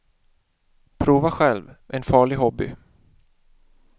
Prova själv, en farlig hobby.